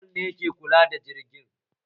Kyaftin Awal ne ke kula da jirgin